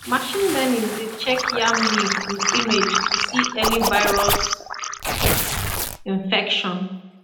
machine learning dey check yam leaf with image to see early virus infection